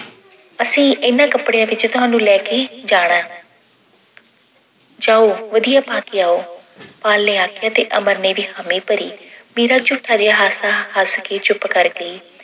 ਅਸੀਂ ਇਹਨਾਂ ਕੱਪੜਿਆਂ ਵਿੱਚ ਤੁਹਾਨੂੰ ਲੈ ਕੇ ਜਾਣਾ ਜਾਓ ਵਧੀਆ ਪਾ ਕੇ ਆਓ। ਪਾਲ ਨੇ ਆਖਿਆ ਤੇ ਅਮਰ ਨੇ ਵੀ ਹਾਮੀ ਭਰੀ। ਮੀਰਾ ਝੂਠਾ ਜਿਹਾ ਹਾਸਾ ਹੱਸ ਕੇ ਚੁੱਪ ਕਰ ਗਈ।